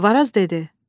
Varaz dedi: